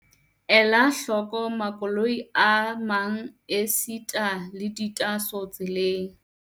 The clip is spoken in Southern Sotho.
Ela hloko makoloi a mang esita le ditaaso tseleng.